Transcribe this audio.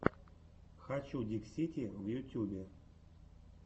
хочу диксити в ютюбе